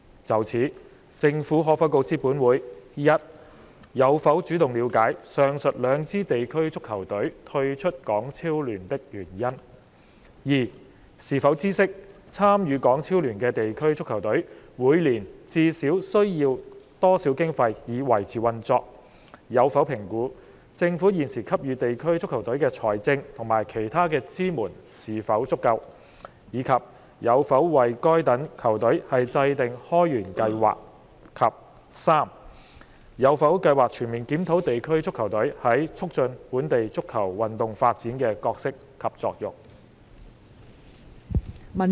就此，政府可否告知本會：一有否主動了解上述兩支地區足球隊退出港超聯的原因；二是否知悉，參與港超聯的地區足球隊每年至少需要多少經費以維持運作；有否評估，政府現時給予地區足球隊的財政及其他支援是否足夠，以及有否為該等球隊制訂開源計劃；及三有否計劃全面檢討地區足球隊在促進本地足球運動發展的角色及作用？